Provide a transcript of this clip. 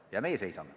Ja meie seisame.